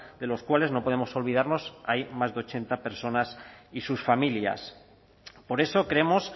de los cuales no podemos olvidarnos hay más de ochenta personas y sus familias por eso creemos